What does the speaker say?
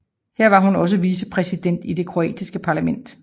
Her var hun også vicepræsident i det kroatiske parlament